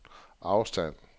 afstand